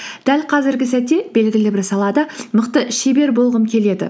дәл қазіргі сәтте белгілі бір салада мықты шебер болғым келеді